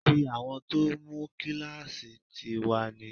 Tí àwọn tó mú kíláàsì tì wá ni